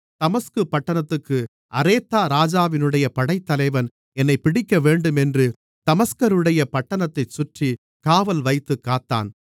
தமஸ்கு பட்டணத்து அரேத்தா ராஜாவினுடைய படைத்தலைவன் என்னைப் பிடிக்கவேண்டும் என்று தமஸ்கருடைய பட்டணத்தைச் சுற்றி காவல்வைத்துக் காத்தான்